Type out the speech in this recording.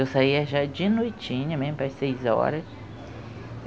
Eu saía já de noitinha mesmo, pelas seis horas.